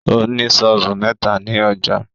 Ó ní sọ́ọ̀bù mẹ́ta ni ọjâ